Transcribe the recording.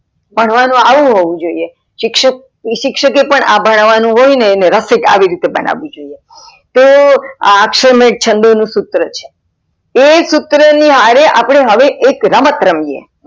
ભણવાનું આવું હોવી જોઈંએ શિક્ષક એ પણ અ ભણવાનું હોઈ ને એને રફીક આવી રીતે બનાવી જોઈં તો અ અક્ષર માય છંદો નું સુત્ર છે. એ સુત્ર ની હરે હવે એક રમત રમીયે.